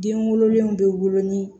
Den wololenw bɛ wolo ni